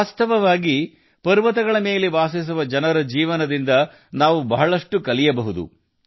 ನಿಜಕ್ಕೂ ಬೆಟ್ಟಗಳಲ್ಲಿ ವಾಸಿಸುವ ಜನರ ಜೀವನದಿಂದ ನಾವು ಬಹಳಷ್ಟು ಕಲಿಯಬಹುದು